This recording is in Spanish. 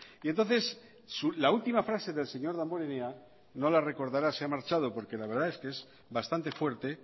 y entonces la última frase del señor damborenea no la recordará se ha marchado porque la verdad es que es bastante fuerte